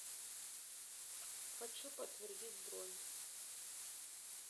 хочу подтвердить бронь